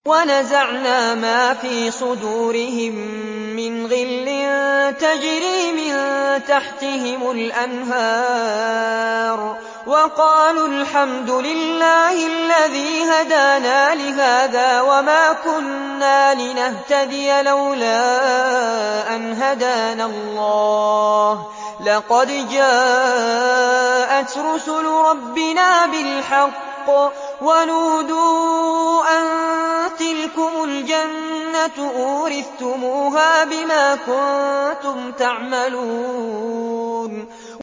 وَنَزَعْنَا مَا فِي صُدُورِهِم مِّنْ غِلٍّ تَجْرِي مِن تَحْتِهِمُ الْأَنْهَارُ ۖ وَقَالُوا الْحَمْدُ لِلَّهِ الَّذِي هَدَانَا لِهَٰذَا وَمَا كُنَّا لِنَهْتَدِيَ لَوْلَا أَنْ هَدَانَا اللَّهُ ۖ لَقَدْ جَاءَتْ رُسُلُ رَبِّنَا بِالْحَقِّ ۖ وَنُودُوا أَن تِلْكُمُ الْجَنَّةُ أُورِثْتُمُوهَا بِمَا كُنتُمْ تَعْمَلُونَ